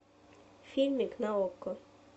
фильмик на окко